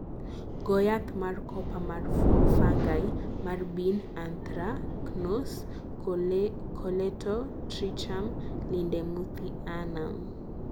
Goo yath mar copper mar fungi mar Bean anthracnose (Colletotrichum lindemuthianum).